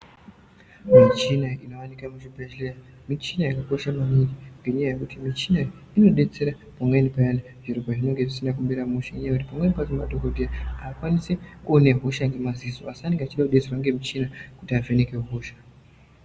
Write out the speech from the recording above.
Michini inowanikwa muchibhedhlera michini yakakosha maningi ngenyaya yekuti michini inodetsera pamweni payani zviro pazvinenge zvisina kumira mushe nenyaya yekuti pamweni madhokodheya haakwanisi kuona hosha ngemadziso asi anenge achida kudetserwa ngemichini kuti vavheneke hosha.